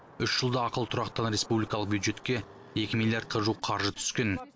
үш жылда ақылы тұрақтан республикалық бюджетке екі миллиардқа жуық қаржы түскен